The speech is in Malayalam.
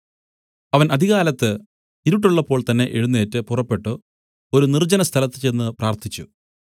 അവൻ അതികാലത്ത് ഇരുട്ടുള്ളപ്പോൾതന്നെ എഴുന്നേറ്റ് പുറപ്പെട്ടു ഒരു നിർജ്ജനസ്ഥലത്ത് ചെന്ന് പ്രാർത്ഥിച്ചു